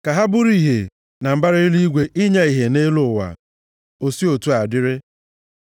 Ka ha bụrụ ìhè na mbara eluigwe inye ìhè nʼelu ụwa.” O si otu a dịrị.